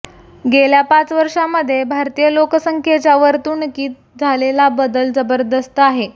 गेल्या पाच वर्षांमध्ये भारतीय लोकसंख्येच्या वर्तणूकीत झालेला बदल जबरदस्त आहे